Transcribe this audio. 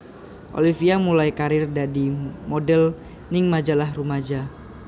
Olivia mulai karir dadi model ning majalah rumaja